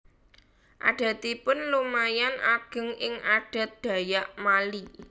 Adatipun lumayan ageng ing adat Dayak Mali